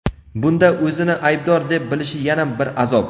bunda o‘zini aybdor deb bilishi yana bir azob.